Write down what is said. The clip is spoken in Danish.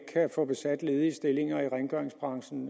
kan få besat ledige stillinger i rengøringsbranchen